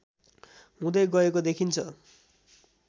हुँदै गएको देखिन्छ